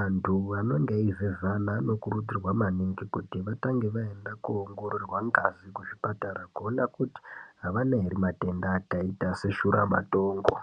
anthu anenge eivhevhana anokurudzirwa maningi kuti atange aenda koongororwa ngazi kuzvipatara kuona kuti avanaere matenda akaita seshuramatongo.